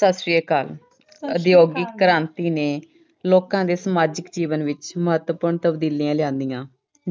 ਸਤਿ ਸ੍ਰੀ ਅਕਾਲ। ਉਦਯੋਗਿਕ ਕ੍ਰਾਂਤੀ ਨੇ ਲੋਕਾਂ ਦੇ ਸਮਾਜਿਕ ਜੀਵਨ ਵਿੱਚ ਮਹੱਤਵਪੂਰਨ ਤਬਦੀਲੀਆਂ ਲਿਆਉਂਦੀਆਂ।